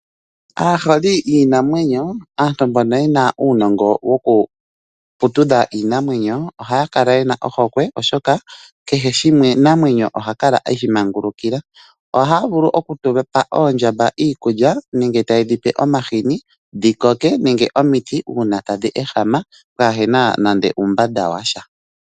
Aaholi yiinamwenyo aantu mbono ye na uunongo wokuputudha iinamwenyo ohaya kala ye na ohokwe, oshoka kehe oshinamwenyo oha kala eshi mangulukila. Ohaya vulu okupa oondjamba iikulya nenge taye dhipe omahini nenge omiti uuna tadhi ehama kaape na nande uumbanda wa sha.